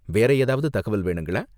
வேற ஏதாவது தகவல் வேணுங்களா?